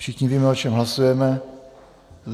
Všichni víme, o čem hlasujeme.